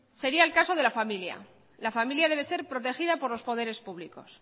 sería el caso de la familia la familia debe ser protegida por los poderes públicos